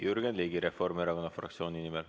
Jürgen Ligi Reformierakonna fraktsiooni nimel.